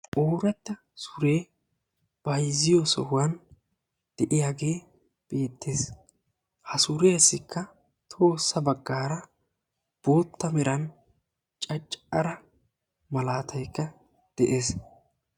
Ooratta suree bayzziyo sohuwan de'iyaage beetees. Assikka caccara meray de'iyooge beetees.